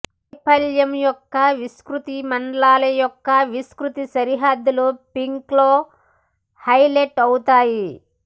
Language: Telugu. వైఫల్యం యొక్క విస్తృతమైన మండలాల యొక్క విస్తృత సరిహద్దులు పింక్లో హైలైట్ అవుతాయి